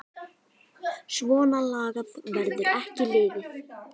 Svona lagað verður ekki liðið.